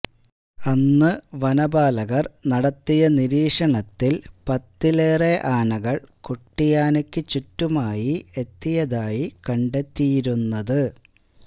അന്നുവനപാലകര് നടത്തിയ നിരീക്ഷണത്തില് പത്തിലേറെ ആനകള് കുട്ടിയാനക്ക് ചുറ്റുമായി എത്തയതായി കണ്ടെത്തിയിരുന്നത്